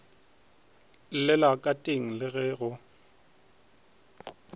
llela ka teng le go